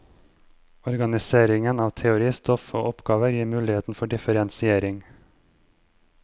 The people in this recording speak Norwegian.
Organiseringen av teoristoff og oppgaver gir muligheter for differensiering.